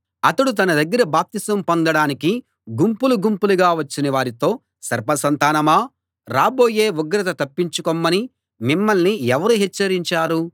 అతడు తన దగ్గర బాప్తిసం పొందడానికి గుంపులు గుంపులుగా వచ్చిన వారితో సర్ప సంతానమా రాబోయే ఉగ్రత తప్పించుకొమ్మని మిమ్మల్ని ఎవరు హెచ్చరించారు